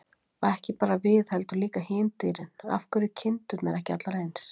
Og ekki bara við heldur líka hin dýrin: Af hverju eru kindurnar ekki allar eins?